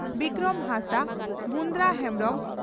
Bikram Hansdak Brunda Hembrom